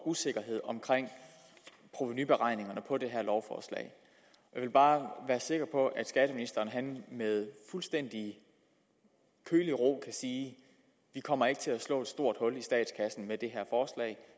usikkerhed omkring provenuberegningerne på det her lovforslag jeg vil bare være sikker på at skatteministeren med fuldstændig kølig ro kan sige vi kommer ikke til at slå et stort hul i statskassen med det her